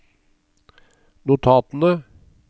notatene